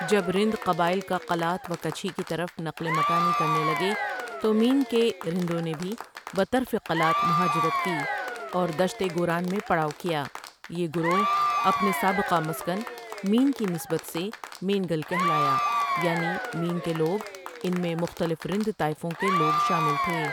جب رند قبائل کا قلات و کچھی کی طرف نقل مکانی کرنے لگے تو مین کے رندوں نے بھی بطرف قلات مہاجرات کی اور دشت گوران میں پڑاو کیا یہ گروہ اپنے سابقہ مسکن مین کی نسبت سے مین گل کہلایا یعنی مین کے لوگ ان میں مختلف رند طائفوں کے لوگ شامل تھے۔